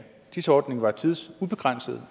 dis ordningen var tidsubegrænset